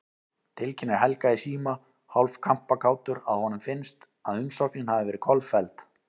Tilkynnir Helga í síma, hálf kampakátur að honum finnst, að umsóknin hafi verið kolfelld.